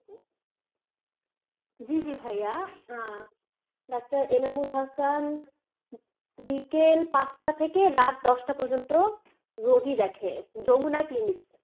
জী জী ভাইয়া আহ ডাক্তার এনামুল হাসান বিকেল পাঁচটা থেকে রাত দশটা পর্যন্ত রোগি দেখে জমুনা clinic